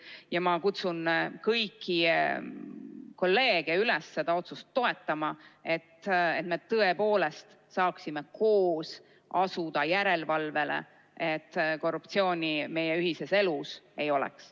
Ja ma kutsun kõiki kolleege üles seda otsust toetama, et me tõepoolest saaksime koos asuda järelevalvele ja et korruptsiooni meie ühises elus ei oleks.